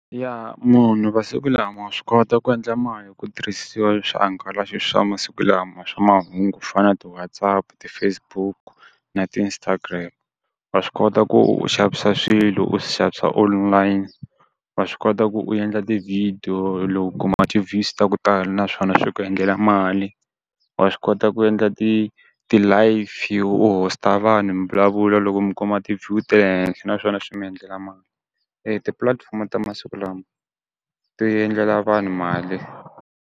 Munhu vasiku lama wa swi kota ku endla mali hi ku tirhisiwa swihangalasi swa masiku lama swa mahungu ku fana ti-Whatsapp, ti-Facebook na ti-Instagram. wa swi kota ku u xavisa swilo u swi xavisa wa swi kota ku u endla ti-video loku ku kuma ti-views ta ku tala naswona swi ku endlela mali, wa swi kota ku endla ti ti-live u host-a vanhu mi vulavula loko mi kuma ti-view ta le henhla naswona swi mi endlela mali tipulatifomo ta masiku lama ti endlela vanhu mali.